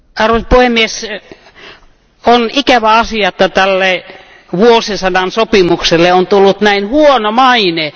Arvoisa puhemies, on ikävä asia, että tälle vuosisadan sopimukselle on tullut näin huono maine.